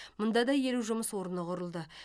мұнда да елу жұмыс орны құрылды